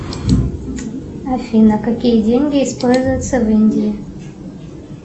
афина какие деньги используются в индии